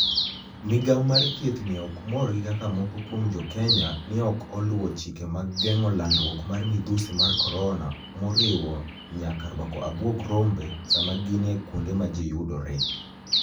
Migawo mar thieth ni e ok mor gi kaka moko kuom JoKeniya ni e ok oluwo chike mag genig'o lanidruok mar midhusi mar koronia, moriwo niyaka rwako abuog rombe Saama gini e kuonide ma ji yudore.